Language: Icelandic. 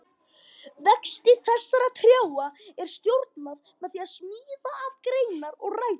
Vexti þessara trjáa er stjórnað með því að sníða af greinar og rætur.